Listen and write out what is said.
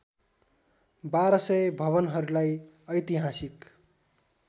१२०० भवनहरूलाई ऐतिहासिक